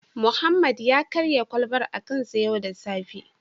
Mohammed karya kwalbar a kansa yau da safe